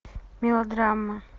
мелодрама